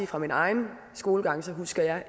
fra min egen skolegang